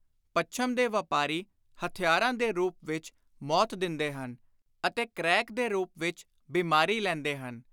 ਪੱਛਮ ਦੇ ਵਾਪਾਰੀ ਹਥਿਆਰਾਂ ਦੇ ਰੂਪ ਵਿਚ ਮੌਤ ਦਿੰਦੇ ਹਨ ਅਤੇ ਕੈਕ ਦੇ ਰੂਪ ਵਿਚ ਬੀਮਾਰੀ ਲੈਂਦੇ ਹਨ।